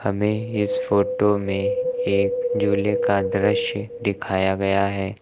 हमें इस फोटो में एक झूले का दृश्य दिखाया गया है।